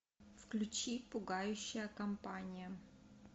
включи пугающая компания